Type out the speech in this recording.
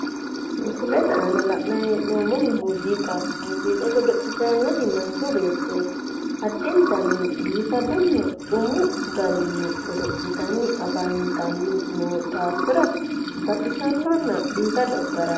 Misilete aana la'nayi hee'noommohu muuziiqaho. Muuziiqa godo'litayi nooti manchu beettooti. Addintanni biigadunna xumu garinni godo'litanni afantanni noo daafira baxisannonna biifado garaati.